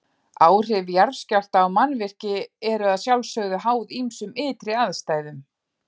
Áhrif jarðskjálfta á mannvirki eru að sjálfsögðu háð ýmsum ytri aðstæðum.